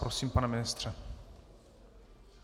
Prosím, pane ministře.